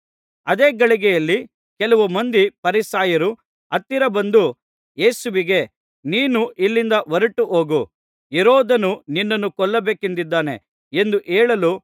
ಅದೇ ಗಳಿಗೆಯಲ್ಲಿ ಕೆಲವು ಮಂದಿ ಫರಿಸಾಯರು ಹತ್ತಿರ ಬಂದು ಯೇಸುವಿಗೆ ನೀನು ಇಲ್ಲಿಂದ ಹೊರಟು ಹೋಗು ಹೆರೋದನು ನಿನ್ನನ್ನು ಕೊಲ್ಲಬೇಕೆಂದಿದ್ದಾನೆ ಎಂದು ಹೇಳಲು